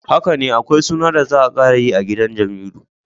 Hakane akwai suna da za a karayi a gidan Jamilu.